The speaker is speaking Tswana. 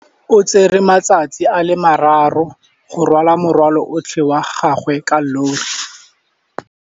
O tsere malatsi a le marraro go rwala morwalo otlhe wa gagwe ka llori.